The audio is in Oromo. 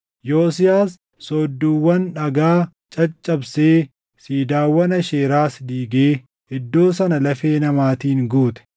Yosiyaas soodduuwwan dhagaa caccabsee siidaawwan Aasheeraas diigee iddoo sana lafee namaatiin guute.